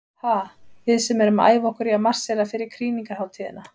Ha, við sem erum að æfa okkur í að marsera fyrir krýningarhátíðina.